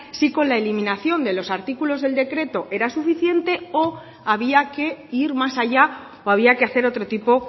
si con la eliminación de los artículos del decreto era suficiente o había que ir más allá o había que hacer otro tipo